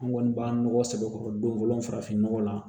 An kɔni b'an nɔgɔ sɛbɛkɔrɔ don fɔlɔ farafin nɔgɔ la